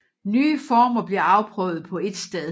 Nye former bliver afprøvet på et sted